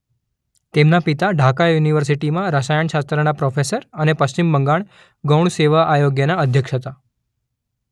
તેમના પિતા ઢાકા યુનિવર્સિટીમાં રસાયણશાસ્ત્રના પ્રોફેસર અને પશ્ચિમ બંગાળ ગૌણ સેવા આયોગના અધ્યક્ષ હતા.